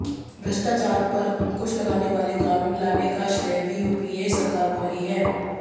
भ्रष्टाचार पर अंकुश लगाने वाले कानून लाने का र्शेय भी यूपीए सरकार को ही है